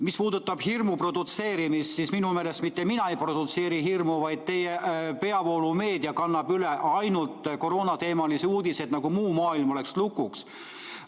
Mis puudutab hirmu produtseerimist, siis minu meelest mitte mina ei produtseeri hirmu, vaid teie peavoolumeedia kannab üle ainult koroonateemalisi uudiseid, nagu muu maailm oleks lukus.